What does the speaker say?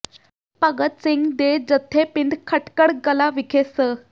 ਭਗਤ ਸਿੰਘ ਦੇ ਜੱਦੇ ਪਿੰਡ ਖਟਕੜ ਕਲਾਂ ਵਿਖੇ ਸ